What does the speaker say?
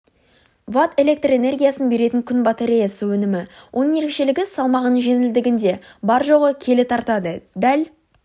ватт электр энергиясын беретін күн батареясы өнімі оның ерекшелігі салмағының жеңілдігінде бар-жоғы келі тартады дәл